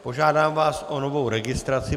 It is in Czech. Požádám vás o novou registraci.